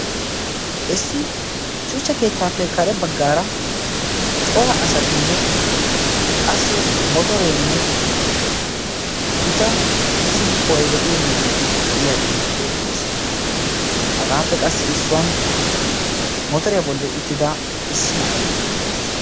issi shuchcha keettaappe kare baggaara cora asatinne qassi motoreenne gita issi kuway de'iyo mittay de'iyaagee beettees hagaappe qassi issuwan motoriyaa bolli uttida issi na'ay beettees